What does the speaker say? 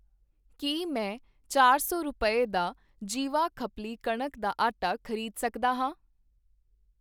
ਕੀ ਮੈਂ ਚਾਰ ਸੌ ਰੁਪਏ, ਦਾ ਜੀਵਾ ਖਪਲੀ ਕਣਕ ਦਾ ਆਟਾ ਖ਼ਰੀਦ ਸਕਦਾ ਹਾਂ?